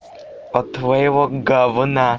от твоего говна